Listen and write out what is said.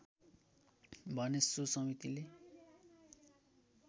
भने सो समितिले